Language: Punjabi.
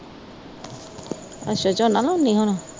ਅੱਛਾ ਝੋਨਾ ਲਾਉਂਦੀ ਹੁਣ